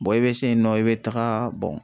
i be se yen nɔ i be taga bɔn.